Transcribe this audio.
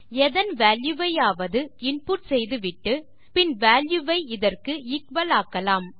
எதன் வால்யூ வையாவது இன்புட் செய்துவிட்டு பின் வால்யூ வை இதற்கு எக்குவல் ஆக்கலாம்